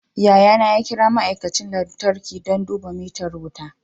Yayana ya kira ma'aikacin lantarki don duba mitar wuta